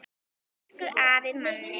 Elsku afi Manni.